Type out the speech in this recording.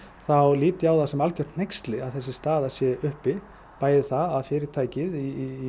þá lít ég á það sem algert hneyksli að þessi staða sé uppi bæði það að fyrirtæki í